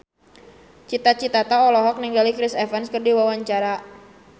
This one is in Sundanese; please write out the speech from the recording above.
Cita Citata olohok ningali Chris Evans keur diwawancara